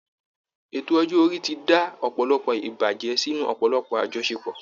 Ètò ọjọ́ orí ti dá ọ̀pọ̀lọpọ̀ ìbàjẹ́ sínú ọ̀pọ̀lọpọ̀ àjọṣepọ̀